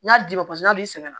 N'a d'i ma n'ale sɛgɛnna